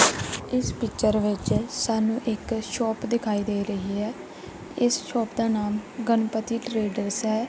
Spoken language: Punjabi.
ਇਸ ਪਿਚਰ ਵਿੱਚ ਸਾਨੂੰ ਇੱਕ ਸ਼ੋਪ ਦਿਖਾਈ ਦੇ ਰਹੀ ਹੈ ਇਸ ਸ਼ੋਪ ਦਾ ਨਾਮ ਗਣਪਤੀ ਟਰੇਡਰਸ ਹੈ।